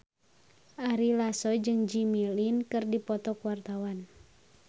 Ari Lasso jeung Jimmy Lin keur dipoto ku wartawan